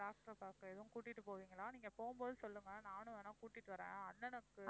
doctor அ பார்க்க எதுவும் கூட்டிட்டு போவீங்களா? நீங்கப் போகும்போது சொல்லுங்க நானும் வேணா கூட்டிட்டு வர்றேன் அஹ் அண்ணனுக்கு